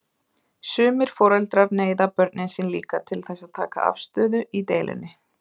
Sumir foreldrar neyða börnin sín líka til þess að taka afstöðu í deilunni.